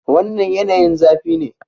Wannan yanayin zafi ne.